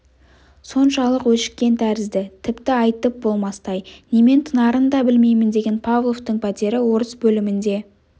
соншалық өшіккен тәрізді тіпті айтып болмастай немен тынарын да білмеймін деген павловтың пәтері орыс бөлімінде